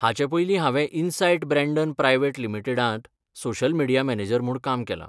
हाचें पयलीं हांवें इनसायट ब्रँडन प्रायव्हेट लिमीटेडांट सोशल मिडीया मॅनेजर म्हूण काम केलां.